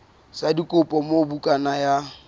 sa dikopo moo bukana ya